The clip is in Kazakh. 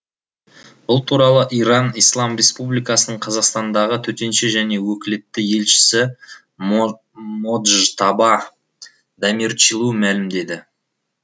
бұл туралы иран ислам республикасының қазақстандағы төтенше және өкілетті елшісі моджтаба дамирчилу мәлімдеді